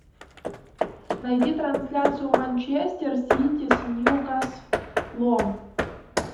найди трансляцию манчестер сити с ньюкаслом